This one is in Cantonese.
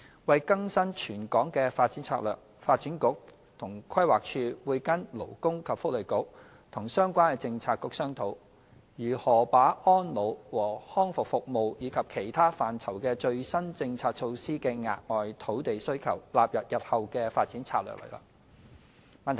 為更新全港的發展策略，發展局和規劃署會跟勞工及福利局和相關政策局商討，如何把安老和康復服務及其他範疇的最新政策措施的額外土地需求，納入日後的發展策略內。